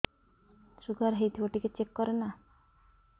sugar ହେଇଥିବ ଟିକେ check କର ନା